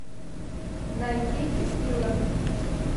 найти текила